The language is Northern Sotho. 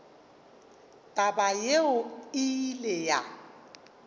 taba yeo e ile ya